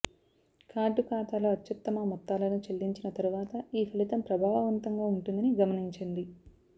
card ఖాతాలో అత్యుత్తమ మొత్తాలను చెల్లించిన తరువాత ఈ ఫలితం ప్రభావవంతంగా ఉంటుందని గమనించండి